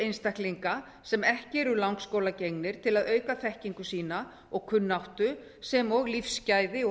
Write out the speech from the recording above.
einstaklinga sem ekki eru langskólagengnir til að auka þekkingu sína og kunnáttu sem og lífsgæði og